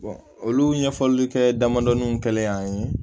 olu ɲɛfɔli kɛ damadɔnin kɛlen an ye